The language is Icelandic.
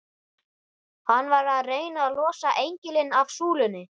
Hann var að reyna að losa engilinn af súlunni!